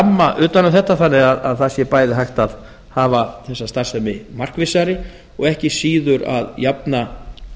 heildarramma utan um þetta þannig að það sé bæði hægt að hafa þessa starfsemi markvissari og ekki síður að jafna